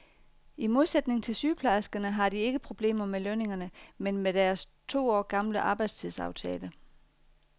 I modsætning til sygeplejerskerne har de ikke problemer med lønningerne, men med deres to år gamle arbejdstidsaftale.